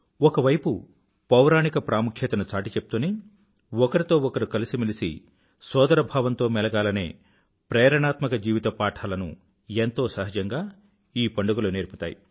ఒక వైపు పౌరాణిక ప్రాముఖ్యతను చాటిచెప్తూనే ఒకరితో ఒకరు కలిసిమెలిసి సోదరభావంతో మెలగాలనే ప్రేరణాత్మక జీవిత పాఠాలను ఎంతో సహజంగా ఈ పండుగలు నేర్పుతాయి